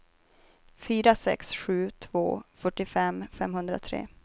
fyra sex sju två fyrtiofem femhundratre